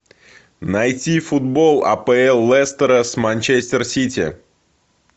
найти футбол апл лестера с манчестер сити